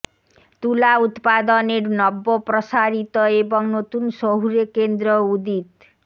তুলা উৎপাদনের নব্য প্রসারিত এবং নতুন শহুরে কেন্দ্র উদিত